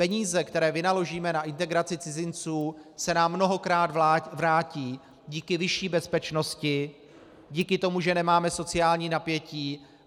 Peníze, které vynaložíme na integraci cizinců, se nám mnohokrát vrátí díky vyšší bezpečnosti, díky tomu, že nemáme sociální napětí.